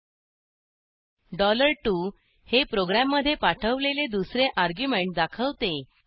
2 dollar दोन हे प्रोग्रॅममधे पाठवलेले दुसरे अर्ग्युमेंट दाखवते